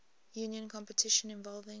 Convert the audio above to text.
union competition involving